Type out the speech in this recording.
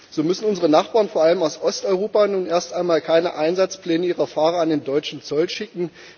So müssen unsere Nachbarn vor allem aus Osteuropa nun erst einmal keine Einsatzpläne ihrer Fahrer an den deutschen Zoll schicken.